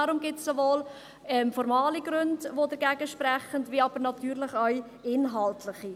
Daher gibt es sowohl formale Gründe, die dagegensprechen, als aber natürlich auch inhaltliche.